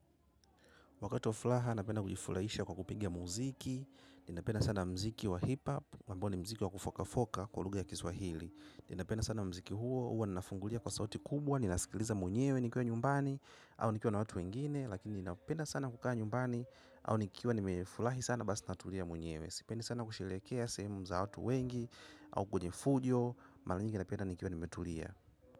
Wakati wa furaha napenda kujifurahisha kwa kupigia muziki. Ninapenda sana muziki wa hip-hop. Mambo ni muziki wa kufoka-foka kwa lugha ya kiswahili. Ninapena sana mziki huo. Huowa ninafungulia kwa sauti kubwa. Ninasikiliza mwenyewe nikiwa nyumbani. Au nikiwa na watu wengine. Lakini ninapenda sana kukaa nyumbani. Au nikiwa nimefurahi sana basi natulia mwenyewe. Siipendi sana kusherehekea sehemu za watu wengi. Au kwenye fujo. Mara nyingi napenda nikiwa nimetulia.